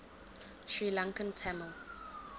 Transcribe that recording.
sri lankan tamil